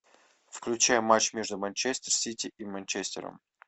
включай матч между манчестер сити и манчестером